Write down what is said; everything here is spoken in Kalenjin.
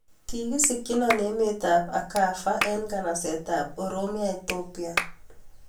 Kikisigyinaa emeet ab akarfa eng nganaseet ab oromia Etopia